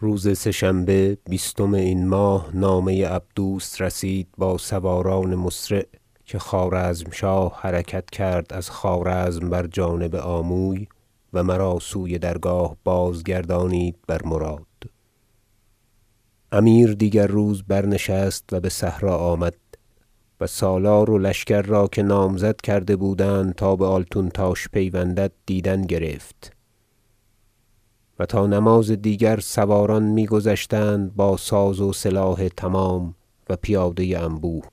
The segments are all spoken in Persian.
روز سه شنبه بیستم این ماه نامه عبدوس رسید با سواران مسرع که خوارزمشاه حرکت کرد از خوارزم بر جانب آموی و مرا سوی درگاه بازگردانید بر مراد امیر روز دیگر برنشست و بصحرا آمد و سالار و لشکر را که نامزد کرده بودند تا بآلتونتاش پیوندند دیدن گرفت و تا نماز دیگر سواران می گذشتند با ساز و سلاح تمام و پیاده انبوه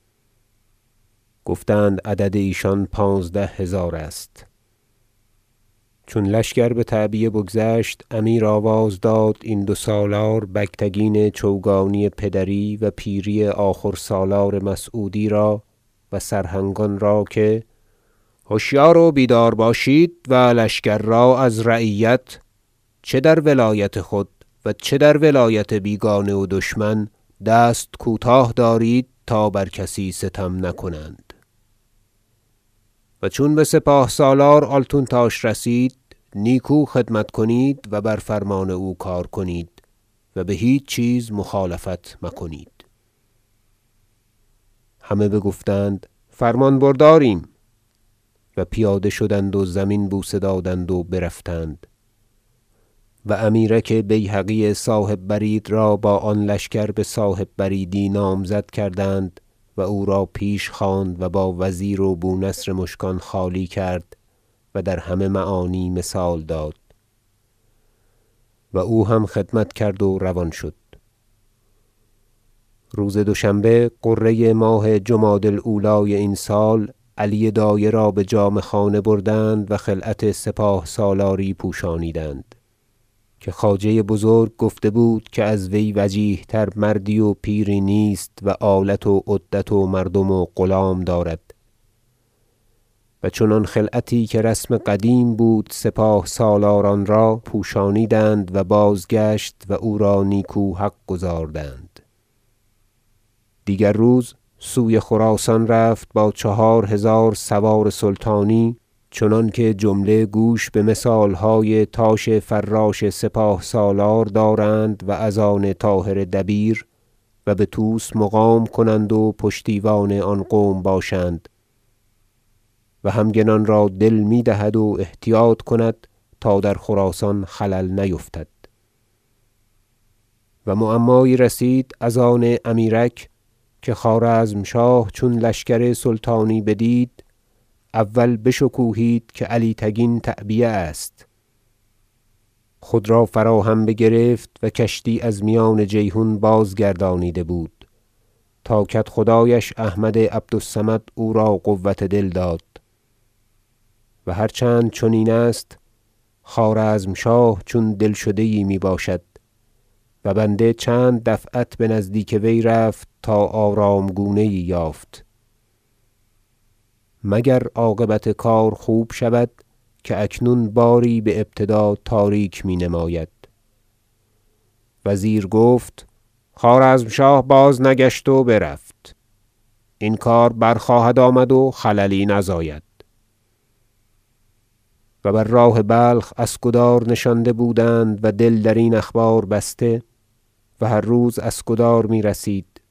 گفتند عدد ایشان پانزده هزار است چون لشکر بتعبیه بگذشت امیر آواز داد این دو سالار بگتگین چوگانی پدری و پیری آخور سالار مسعودی را و سرهنگان را که هشیار و بیدار باشید و لشکر را از رعیت چه در ولایت خود و چه در ولایت بیگانه و دشمن دست کوتاه دارید تا بر کسی ستم نکنند و چون بسپاه سالار آلتونتاش رسید نیکو خدمت کنید و بر فرمان او کار کنید و بهیچ چیز مخالفت مکنید همه بگفتند فرمان برداریم و پیاده شدند و زمین بوسه دادند و برفتند و امیرک بیهقی صاحب برید را با آن لشکر بصاحب بریدی نامزد کردند و او را پیش خواند و با وزیر و بونصر مشکان خالی کرد و در همه معانی مثال داد و او هم خدمت کرد و روان شد روز دوشنبه غره ماه جمادی الأولی این سال علی دایه را بجامه خانه بردند و خلعت سپاه سالاری پوشانیدند که خواجه بزرگ گفته بود که از وی وجیه تر مردی و پیری نیست و آلت و عدت و مردم و غلام دارد و چنان خلعتی که رسم قدیم بود سپاه سالاران را پوشانیدند و بازگشت و او را نیکو حق گزاردند دیگر روز سوی خراسان رفت با چهار هزار سوار سلطانی چنانکه جمله گوش بمثالهای تاش فراش سپاه سالار دارند و از آن طاهر دبیر و بطوس مقام کنند و پشتیوان آن قوم باشند و همگنان را دل میدهد و احتیاط کند تا در خراسان خلل نیفتد و معمایی رسید از آن امیرک که خوارزمشاه چون لشکر سلطانی بدید اول بشکوهید که علی تگین تعبیه است خود را فراهم بگرفت و کشتی از میان جیحون بازگردانیده بود تا کدخدایش احمد عبد الصمد او را قوة دل داد و هر چند چنین است خوارزمشاه چون دلشده یی میباشد و بنده چند دفعت بنزدیک وی رفت تا آرام گونه یی یافت مگر عاقبت کار خوب شود که اکنون باری بأبتدا تاریک مینماید وزیر گفت خوارزمشاه بازنگشت و برفت این کار برخواهد آمد و خللی نزاید فتح بخارا به دست خوارزمشاه و بر راه بلخ اسکدار نشانده بودند و دل درین اخبار بسته و هر روز اسکدار میرسید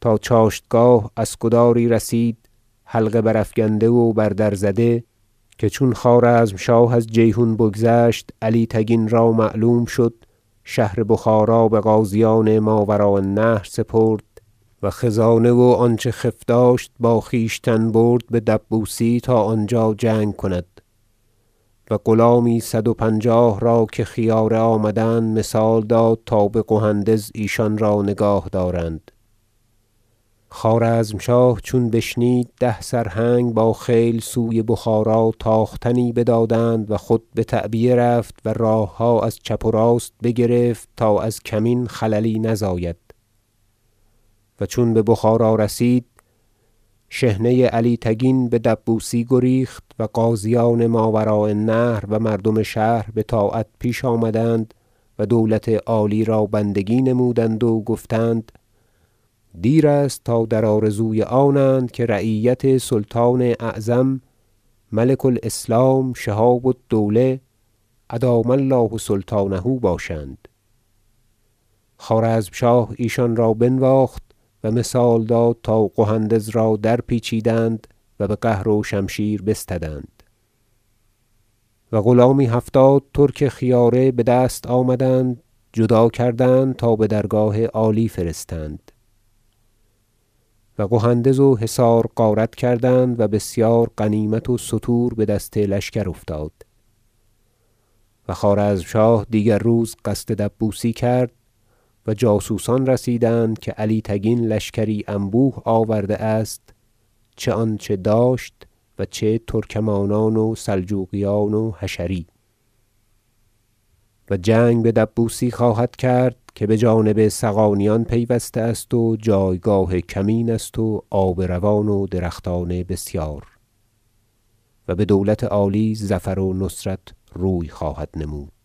تا چاشتگاه اسکداری رسید حلقه بر افکنده و بر در زده که چون خوارزمشاه از جیحون بگذشت علی تگین را معلوم شد شهر بخارا بغازیان ماوراء النهر سپرد و خزانه و آنچه خف داشت با خویشتن برد بدبوسی تا آنجا جنگ کند و غلامی صد و پنجاه را که خیاره آمدند مثال داد تا بقهندز ایشان را نگاه دارند خوارزمشاه چون بشنید ده سرهنگ باخیل سوی بخارا تاختنی بدادند و خود بتعبیه رفت و راهها از چپ و راست بگرفت تا از کمین خللی نزاید و چون ببخارا رسید شحنه علی تگین بدبوسی گریخت و غازیان ماوراء النهر و مردم شهر بطاعت پیش آمدند و دولت عالی را بندگی نمودند و گفتند دیر است تا در آرزوی آنند که رعیت سلطان اعظم ملک- الاسلام شهاب الدوله ادام الله سلطانه باشند خوارزمشاه ایشان را بنواخت و مثال داد تا قهندز را درپیچیدند و بقهر و شمشیر بستدند و غلامی هفتاد ترک خیاره بدست آمدند جدا کردند تا بدرگاه عالی فرستند و قهندز و حصار غارت کردند و بسیار غنیمت و ستور بدست لشکر افتاد و خوارزمشاه دیگر روز قصد دبوسی کرد و جاسوسان رسیدند که علی تگین لشکری انبوه آورده است چه آنچه داشت و چه ترکمانان و سلجوقیان وحشری و جنگ بدبوسی خواهد کرد که بجانب صغانیان پیوسته است و جایگاه کمین است و آب روان و درختان بسیار و بدولت عالی ظفر و نصرت روی خواهد نمود